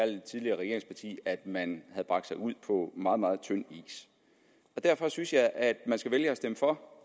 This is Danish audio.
det tidligere regeringsparti at man havde bragt sig ud på meget meget tyndt is og derfor synes jeg at man skal vælge at stemme for